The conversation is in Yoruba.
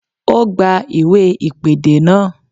Ó gba iwe ìpèdè náà